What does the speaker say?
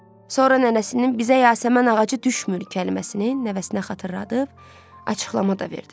Sonra nənəsinin bizə yasəmən ağacı düşmür kəlməsini nəvəsinə xatırladıb, açıqlama da verdi.